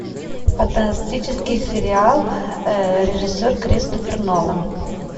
фантастический сериал режиссер кристофер нолан